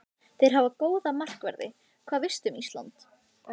Þeir hafa góða markverði Hvað veistu um Ísland?